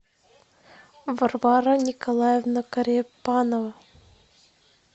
варвара николаевна корепанова